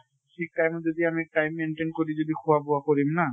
ঠিক time ত যদি আমি time maintain কৰি যদি খোৱা বোৱা কৰিম না